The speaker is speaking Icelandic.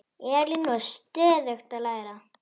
Elín var stöðugt að læra.